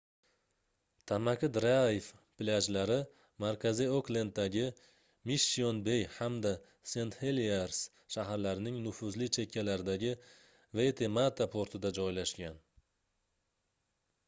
tamaki drayv plyajlari markaziy oklenddagi mishshion-bey hamda sent-heliers shaharlarining nufuzli chekkalaridagi waitemata portida joylashgan